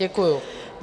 Děkuju.